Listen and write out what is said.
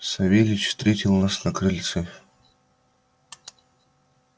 савельич встретил нас на крыльце